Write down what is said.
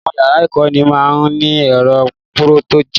Àwọn yàrá ìkọ́ni má ń ní ẹ̀rọ Pùròjẹ́tọ̀